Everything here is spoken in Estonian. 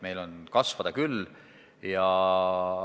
Meil on kasvada küll.